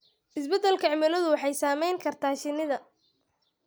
Isbeddelka cimiladu waxay saameyn kartaa shinnida.